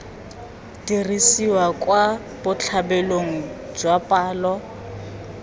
diriswa kwa botlhabelong kwa palo